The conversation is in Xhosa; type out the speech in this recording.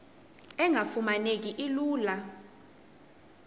engafuma neki lula